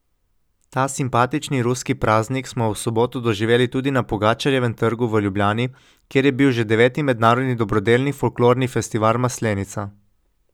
Ta simpatični ruski praznik smo v soboto doživeli tudi na Pogačarjevem trgu v Ljubljani, kjer je bil že deveti mednarodni dobrodelni folklorni festival Maslenica.